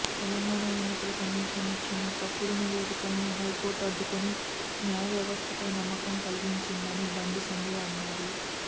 తెలంగాణ ఎన్నికల కమిషన్ ఇచ్చిన తప్పుడు నివేదికలను హై కోర్ట్ అడ్డుకొని న్యాయవ్యవస్థపై నమ్మకం కలిగించిందని బండి సంజయ్ అన్నారు